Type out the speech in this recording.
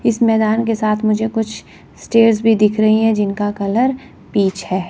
इस मैदान के साथ मुझे कुछ स्टेज भी दिख रही है जिनका कलर पिच है।